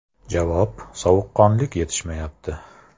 Javob: Sovuqqonlik yetishmayapti.